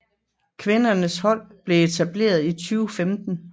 Kvindernes hold blev etableret i 2015